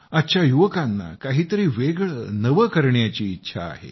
आजच्या युवकांना काहीतरी वेगळं नवं करण्याची इच्छा आहे